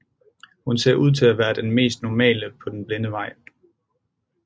Hun ser ud til at være den mest normale på den blinde vej